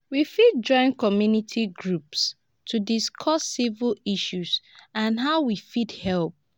we fit join community groups to discuss civic issues and how we fit help.